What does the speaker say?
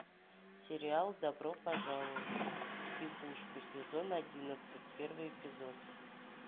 сериал добро пожаловать в психушку сезон одиннадцать первый эпизод